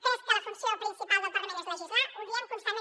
crec que la funció principal del parlament és legislar ho diem constantment